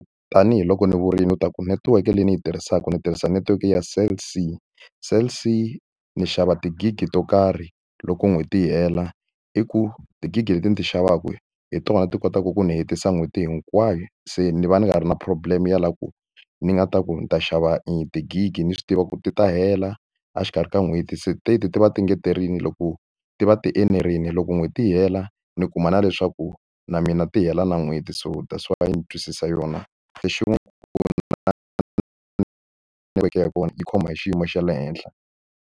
Tanihi loko ni vurile leswaku netiweke leyi ni yi tirhisaka ndzi tirhisa netiweke ya Cell C. Cell C ni xava ti-gig-i to karhi loko n'hweti yi hela. I ku ti-gig-i leti ni ti xavaka hi tona ti kotaka ku ni hetisa n'hweti hinkwayo, se ni va ni nga ri na problem-e ya la ku ni nga ta ku ni ta xava ti-gig-i ni swi tiva ku ti ta hela a xikarhi ka n'hweti. Se teti ti va ti loko ti va ti enerile, loko n'hweti yi hela ni kuma na leswaku na mina ti hela na n'hweti. So thats why ni twisisa yona. Lexin'wani na netiweke ya kona yi khoma hi xiyimo xa le henhla.